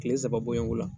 Kile saba bonya o la